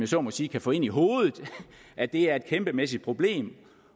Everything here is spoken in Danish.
så må sige kan få ind i hovedet at det er et kæmpemæssigt problem